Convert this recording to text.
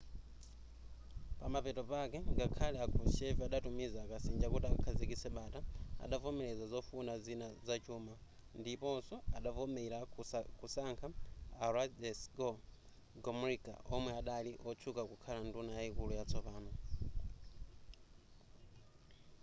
pamapeto pake ngakhale a krushchev adatumiza akasinja kuti akakhazikitse bata adavomereza zofuna zina zachuma ndiponso adavomera kusankha a wladyslaw gomulka omwe adali wotchuka kukhala nduna yaikulu yatsopano